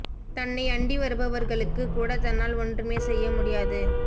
தன்னை அண்டி வருபவர் களுக்குக் கூட தன்னால் ஒன்றுமே செய்ய முடியாது